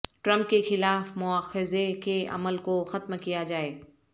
Trump کیخلاف مواخذے کے عمل کو ختم کیا جائے